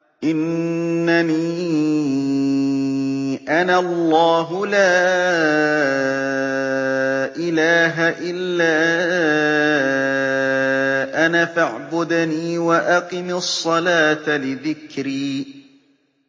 إِنَّنِي أَنَا اللَّهُ لَا إِلَٰهَ إِلَّا أَنَا فَاعْبُدْنِي وَأَقِمِ الصَّلَاةَ لِذِكْرِي